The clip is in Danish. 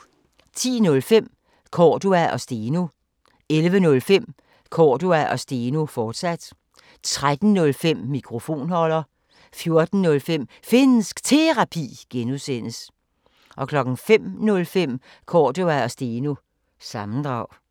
10:05: Cordua & Steno 11:05: Cordua & Steno, fortsat 13:05: Mikrofonholder 14:05: Finnsk Terapi (G) 05:05: Cordua & Steno – sammendrag